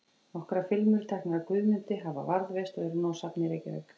Nokkrar filmur, teknar af Guðmundi, hafa varðveist og eru nú á safni í Reykjavík.